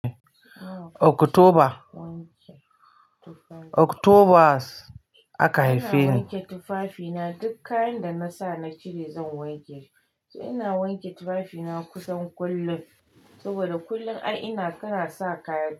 Oktoba, Oktobas aka haife ni. Ina wanke tufafina, duk kayan da na sa na cire zan wanke shi. Ina wanke tufafina kusan kullum. Saboda kullum ai ina kara sa kaya.